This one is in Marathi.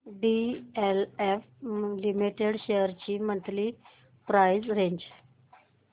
डीएलएफ लिमिटेड शेअर्स ची मंथली प्राइस रेंज